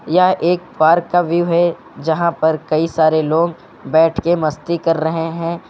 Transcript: यह एक पार्क का व्यू है यहां पर कई सारे लोग बैठ के मस्ती कर रहे हैं।